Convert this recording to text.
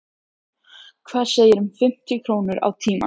Hvað segirðu um fimmtíu krónur á tímann?